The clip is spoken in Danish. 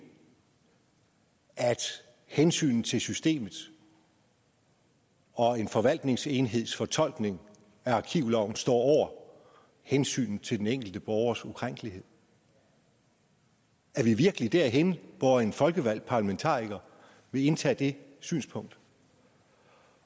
at hensynet til systemet og en forvaltningsenheds fortolkning af arkivloven står over hensynet til den enkelte borgers ukrænkelighed er vi virkelig derhenne hvor en folkevalgt parlamentariker vil indtage det synspunkt